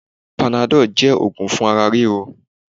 Panadọ́lù jẹ́ ogún fún ara ríro.